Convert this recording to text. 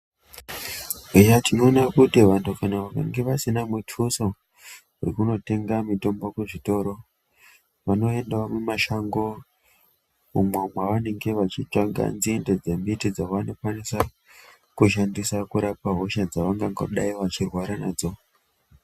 Eya tinoona kuti vantu vakange vasina mutuso yekundotenga mitombo muzvitoro vanoendawo mumashango umwo mwavanenge veitsvaka nzindedzemiti dzavanenge veishandisa kurapa hosha dzavangadai veirwara nadzo.